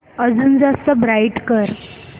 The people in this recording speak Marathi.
अजून जास्त ब्राईट कर